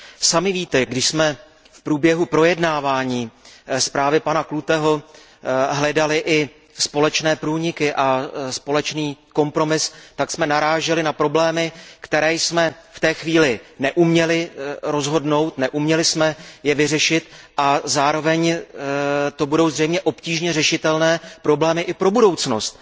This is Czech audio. Sami víte, když jsme v průběhu projednávání zprávy pana Kluteho hledali i společné průniky a společný kompromis, tak jsme naráželi na problémy, které jsme v té chvíli neuměli rozhodnout, neuměli jsme je vyřešit a zároveň to budou zřejmě obtížně řešitelné problémy i pro budoucnost.